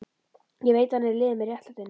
Ég veit að hann er í liði með réttlætinu.